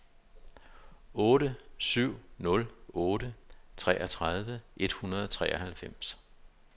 otte syv nul otte treogtredive et hundrede og treoghalvfems